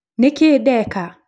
Nĩkĩĩ ndeka?